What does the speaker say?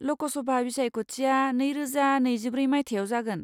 ल'कसभा बिसायख'थिया नैरोजा नैजिब्रै मायथाइयाव जागोन।